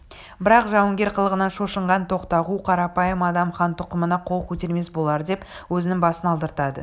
бірақ жауынгер қылығынан шошынған тоқтағу қарапайым адам хан тұқымына қол көтермес болардеп өзінің басын алдыртады